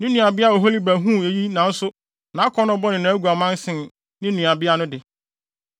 “Ne nuabea Oholiba huu eyi nanso nʼakɔnnɔ bɔne ne nʼaguaman sen ne nuabea no de.